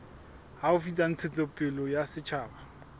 haufi tsa ntshetsopele ya setjhaba